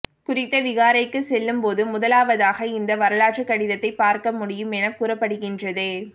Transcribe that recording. குறித்த விகாரைக்கு செல்லும் போது முதலாவதாக இந்த வரலாற்று கடிதத்தையே பார்க்க முடியும் என கூறப்படுகின்றது